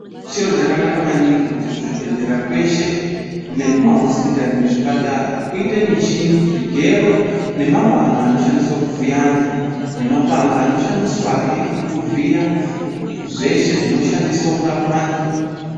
Chiro chakanaka maningi kuti kuzvibhedhlera kweshe, nekumahosipitari ne ekuzvipatara kuite michini, zvigero, nemapanga anoshandiswe kuvhiya antu nemapanga anoshandiswahe kuvhiya zveshe zvinoshandiswe kurapa antu.